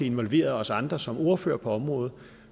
involveret os andre som ordførere på området